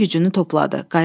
Bütün gücünü topladı.